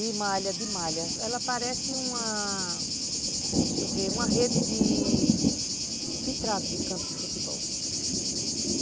E malha de malha, ela parece uma... deixa eu ver, uma rede de... de trave de campo de futebol.